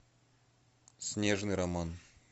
снежный роман